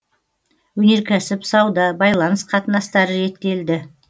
өнеркәсіп сауда байланыс қатынастары реттелді